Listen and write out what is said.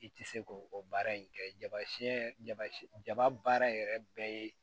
I tɛ se k'o o baara in kɛ jaba siɲɛ jaba yɛrɛ bɛɛ ye